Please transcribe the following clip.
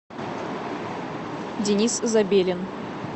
денис забелин